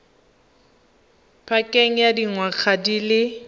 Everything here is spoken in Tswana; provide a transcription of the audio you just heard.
pakeng ya dingwaga di le